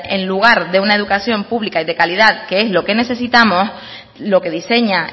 en lugar de una educación pública y de calidad que es lo que necesitamos lo que diseña